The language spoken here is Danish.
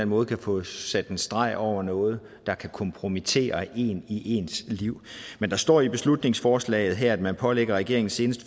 måde kan få sat en streg over noget der kan kompromittere en i ens liv men der står i beslutningsforslaget her at man pålægger regeringen senest